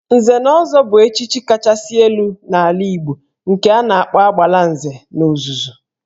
Nze na ọzọ bụ echichi kachasị elu n'ala Igbo nke a na-akpọ Agbalanze n'ozuzu